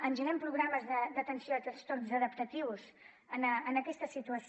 engeguem programes d’atenció a trastorns adaptatius en aquesta situació